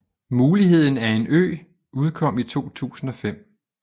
Muligheden af en ø udkom i 2005